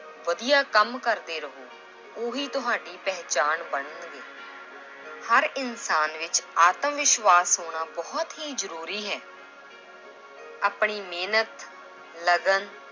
ਵਧੀਆ ਕੰਮ ਕਰਦੇ ਰਹੋ, ਉਹੀ ਤੁਹਾਡੀ ਪਹਿਚਾਣ ਬਣਨਗੇ l ਹਰ ਇਨਸਾਨ ਵਿੱਚ ਆਤਮ ਵਿਸ਼ਵਾਸ਼ ਹੋਣਾ ਬਹੁਤ ਹੀ ਜ਼ਰੂਰੀ ਹੈ l ਆਪਣੀ ਮਿਹਨਤ, ਲਗਨ